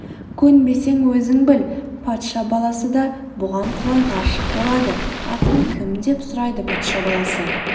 көнбесең өзің біл патша баласы да бұған құлай ғашық болады атың кім деп сұрайды патша баласы